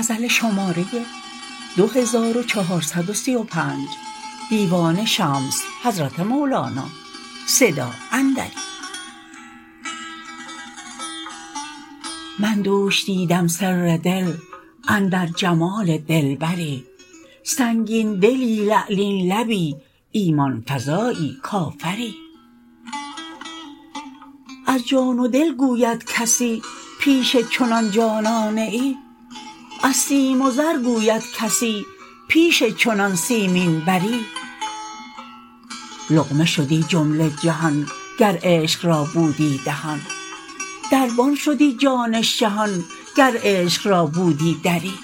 من دوش دیدم سر دل اندر جمال دلبری سنگین دلی لعلین لبی ایمان فزایی کافری از جان و دل گوید کسی پیش چنان جانانه ای از سیم و زر گوید کسی پیش چنان سیمین بری لقمه شدی جمله جهان گر عشق را بودی دهان دربان شدی جان شهان گر عشق را بودی دری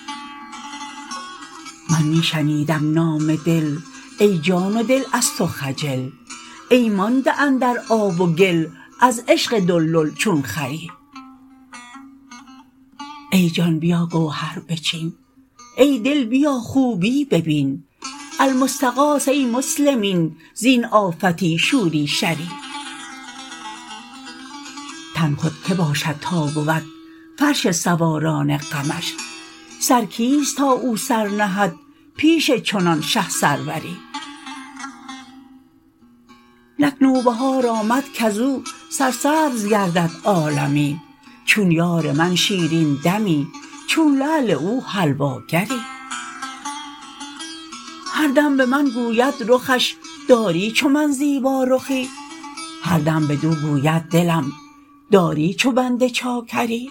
من می شنیدم نام دل ای جان و دل از تو خجل ای مانده اندر آب و گل از عشق دلدل چون خری ای جان بیا گوهر بچین ای دل بیا خوبی ببین المستغاث ای مسلمین زین آفتی شور و شری تن خود کی باشد تا بود فرش سواران غمش سر کیست تا او سر نهد پیش چنان شه سروری نک نوبهار آمد کز او سرسبز گردد عالمی چون یار من شیرین دمی چون لعل او حلواگری هر دم به من گوید رخش داری چو من زیبارخی هر دم بدو گوید دلم داری چو بنده چاکری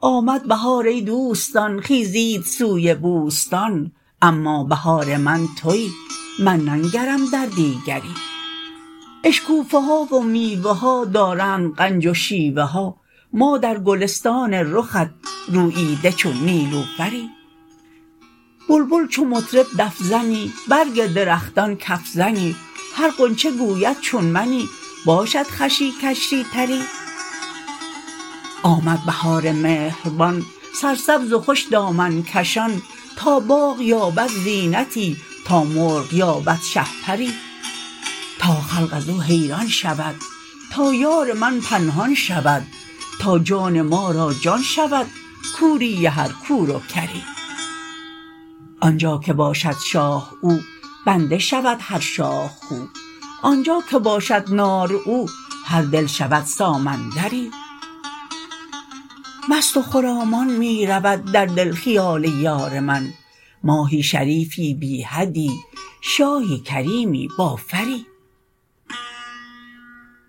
آمد بهار ای دوستان خیزید سوی بوستان اما بهار من توی من ننگرم در دیگری اشکوفه ها و میوه ها دارند غنج و شیوه ها ما در گلستان رخت روییده چون نیلوفری بلبل چو مطرب دف زنی برگ درختان کف زنی هر غنچه گوید چون منی باشد خوشی کشی تری آمد بهار مهربان سرسبز و خوش دامن کشان تا باغ یابد زینتی تا مرغ یابد شهپری تا خلق از او حیران شود تا یار من پنهان شود تا جان ما را جان شود کوری هر کور و کری آن جا که باشد شاه او بنده شود هر شاه خو آن جا که باشد ناز او هر دل شود سامندری مست و خرامان می رود در دل خیال یار من ماهی شریفی بی حدی شاهی کریمی با فری